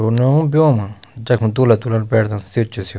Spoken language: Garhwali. ओ नि ब्यो मा जखमा दूल्हा दुल्हन बैठदन सी च स्य।